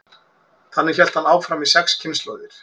þannig hélt hann áfram í sex kynslóðir